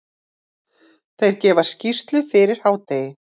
Þeir gefa skýrslu fyrir hádegi.